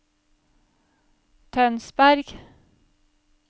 Tønsberg